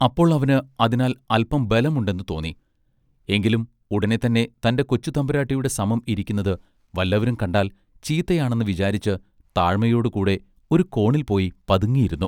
അപ്പോൾ അവന് അതിനാൽ അല്പം ബലം ഉണ്ടെന്ന് തോന്നി എങ്കിലും ഉടനെ തന്നെ തന്റെ കൊച്ചുതമ്പുരാട്ടിയുടെ സമം ഇരിക്കുന്നത് വല്ലവരും കണ്ടാൽ ചീത്തയാണെന്ന് വിചാരിച്ച് താഴാഴ്മയോടു കൂടെ ഒരു കോണിൽ പോയി പതുങ്ങിയിരുന്നു.